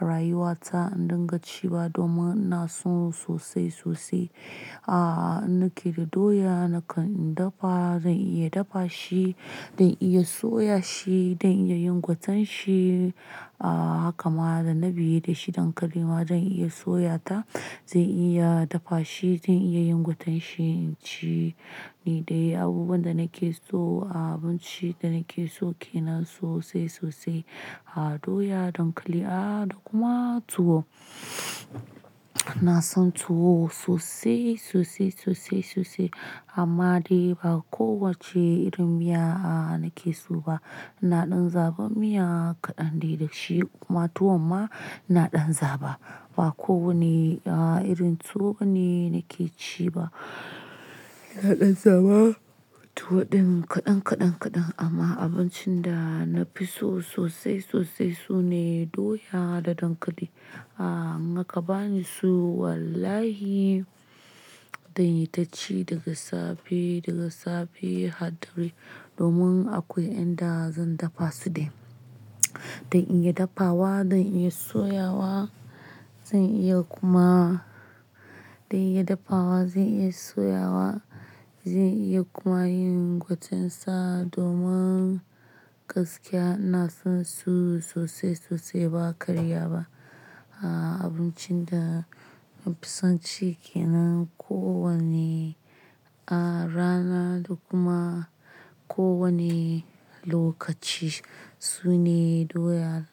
a rayuwa ta in dinga ciwa domin na so sosai sosai. Aaa, in na ke da doya nakan in dafa, zan iya dafa shi, zan iya soya shi, zan iya yin gwaten shi. Aaa, haka ma da na biye da shi dankali ma zan iya soya ta, zan iya dafa shi, zan iya yin gwaten shi. Shine dai abubuwan da nake so, a abincin da nake so kenan sosai sosai. A doya, dankali, aaa, da kuma tuwo. Na san tuwo sosai, sosai, sosai, sosai amma dai ba kowacce irin miya nake so ba. Ina ɗan zaɓan miya kaɗan dai da shi kuma tuwo ma ina ɗan zaɓa. Ba kowanne irin tuwo ne nake ci ba. Na ɗan zaba tuwo ɗin kaɗan, kaɗan, kaɗan amma abincin da na fi so sosai sosai sune doya da dankali. A in aka bani su wallahi zan yi ta ci daga safe, daga safe har dare domin akwai inda zan dafa su dai. Zan iya dafawa, zan iya soyawa, zan iya kuma, zan iya dafawa, zan iya soyawa, zan iya kuma yin gwaten sa domin gaskiya ina son su sosai, sosai ba karya ba. A abincin da na fi son ci kenan kowanne rana da kuma kowanne lokaci sune doya.